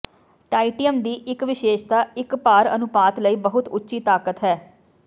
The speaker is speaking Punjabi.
ਟਾਇਟਿਅਮ ਦੀ ਇਕ ਵਿਸ਼ੇਸ਼ਤਾ ਇਕ ਭਾਰ ਅਨੁਪਾਤ ਲਈ ਬਹੁਤ ਉੱਚੀ ਤਾਕਤ ਹੈ